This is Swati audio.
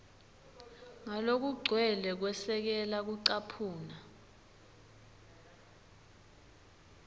ngalokugcwele kwesekela kucaphuna